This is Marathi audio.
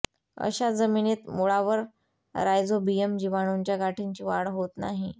अशा जमिनीत मुळावर रायझोबीयम जिवाणूंच्या गाठींची वाढ होत नाही